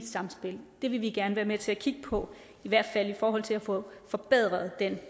samspil det vil vi gerne være med til at kigge på i hvert fald i forhold til at få forbedret den